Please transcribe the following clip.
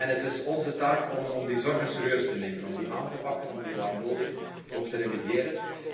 Het is onze taak om die zorgen serieus te nemen, om die aan te pakken, en om die, waar nodig, ook te remediëren.